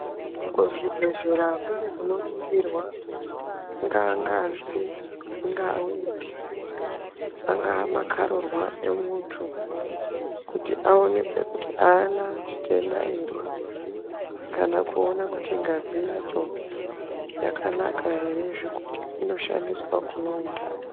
Kuzvibhehlera kune kunoningirwa ingaa ngazi, ingaa weti, anga makararwa emuntu kuti aonekwe kuti aana chitenda ere kana kuona kuti ngazi yacho yakanaka ere zvekuti inoshandiswa kune untani.